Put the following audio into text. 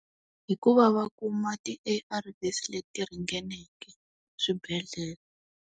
Hi ku va va kuma ti A_R_V's leti ringaneke swibedhlele.